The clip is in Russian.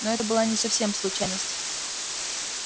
ну это была не совсем случайность